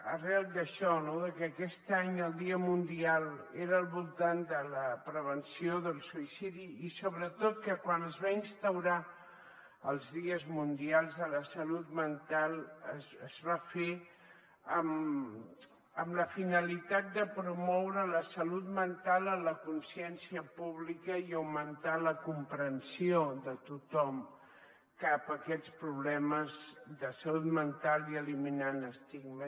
arran d’això no que aquest any el dia mundial era al voltant de la prevenció del suïcidi i sobretot que quan es van instaurar els dies mundials de la salut mental es va fer amb la finalitat de promoure la salut mental a la consciència pública i augmentar la comprensió de tothom cap a aquests problemes de salut mental i eliminar estigmes